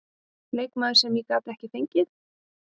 Leikmaður sem ég gat ekki fengið?